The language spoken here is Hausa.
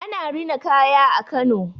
Ana rina kaya a Kano.